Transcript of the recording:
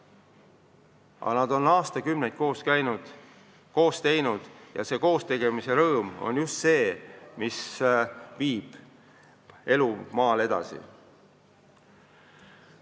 Aga nad on aastakümneid koos käinud, koos teinud, ja koostegemise rõõm on just see, mis viib elu maal edasi.